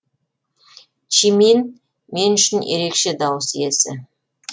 чимин мен үшін ерекше дауыс иесі